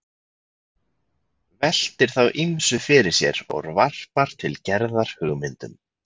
Veltir þá ýmsu fyrir sér og varpar til Gerðar hugmyndum.